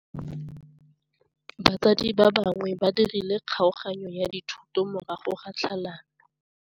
Batsadi ba gagwe ba dirile kgaoganyô ya dithoto morago ga tlhalanô.